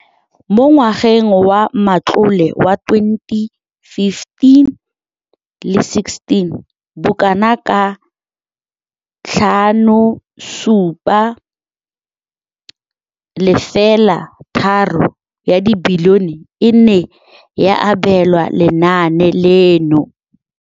Mo ngwageng wa matlole wa 2015,16, bokanaka R5 703 bilione e ne ya abelwa lenaane leno.